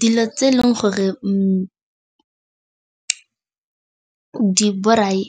Dilo tse e leng gore di borai